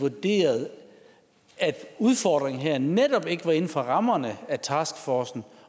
vurderede at udfordringen her netop ikke var inden for rammerne af en taskforce